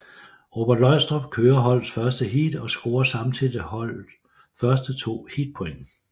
Robert Løgstrup kører holdets første heat og scorer samtidig holdet første to heatpoint